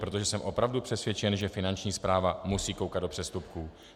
Protože jsem opravdu přesvědčen, že Finanční správa musí koukat do přestupků.